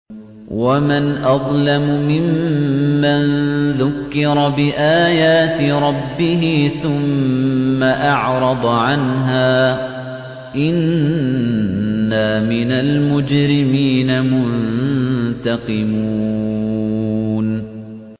وَمَنْ أَظْلَمُ مِمَّن ذُكِّرَ بِآيَاتِ رَبِّهِ ثُمَّ أَعْرَضَ عَنْهَا ۚ إِنَّا مِنَ الْمُجْرِمِينَ مُنتَقِمُونَ